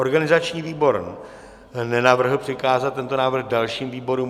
Organizační výbor nenavrhl přikázat tento návrh dalším výborům.